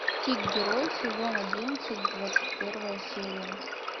тик герой сезон одиннадцать двадцать первая серия